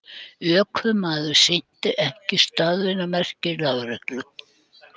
Ökumaður sinnti ekki stöðvunarmerkjum lögreglu